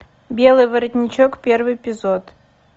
белый воротничок первый эпизод